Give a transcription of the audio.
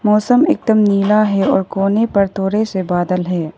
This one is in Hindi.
मौसम एकदम नीला है और कोने पर थोड़े से बादल है।